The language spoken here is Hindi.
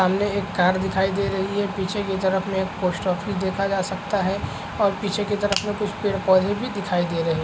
सामने एक कार दिखाई दे रही है पीछे की तरफ में एक पोस्ट ऑफिस देखा जा सकता है और पीछे की तरफ में कुछ पेड पौधे दिखाई भी दे रहे --